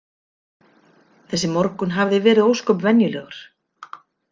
Þessi morgunn hafði verið ósköp venjulegur.